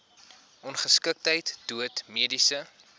ongeskiktheid dood mediese